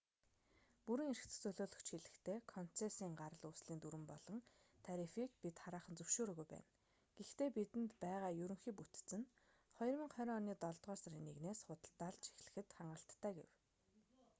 бүрэн эрхт төлөөлөгч хэлэхдээ концессийн гарал үүслийн дүрэм болон тарифыг бид хараахан зөвшөөрөөгүй байна гэхдээ бидэнд байгаа ерөнхий бүтэц нь 2020 оны долдугаар сарын 1-с худалдаалж эхлэхэд хангалттай гэв